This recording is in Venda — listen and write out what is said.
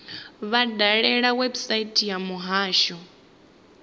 vha dalele website ya muhasho